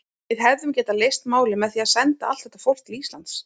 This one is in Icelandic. Við hefðum getað leyst málin með því að senda allt þetta fólk til Íslands.